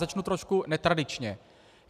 Začnu trošku netradičně.